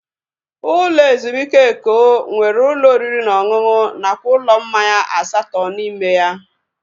Ụlọ ezumike Eko nwere ụlọ oriri na ọṅụṅụ nakwa ụlọ mmanya asatọ n'ime ya